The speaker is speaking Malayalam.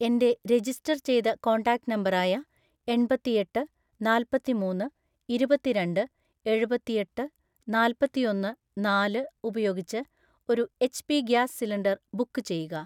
എൻ്റെ രജിസ്റ്റർ ചെയ്ത കോൺടാക്റ്റ് നമ്പർ ആയ എൺപത്തിയെട്ട് നാല്പത്തിമൂന്ന് ഇരുപത്തിരണ്ട് എഴുപത്തിഎട്ട് നാല്പത്തിയൊന്ന് നാല്‌ ഉപയോഗിച്ച് ഒരു എച്ച്പി ഗ്യാസ് സിലിണ്ടർ ബുക്ക് ചെയ്യുക.